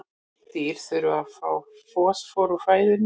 Dýr þurfa að fá fosfór úr fæðunni.